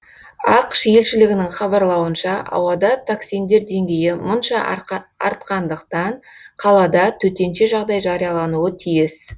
ақш елшілігінің хабарлауынша ауада токсиндер деңгейі мұнша артқандықтан қалада төтенше жағдай жариялануы тиіс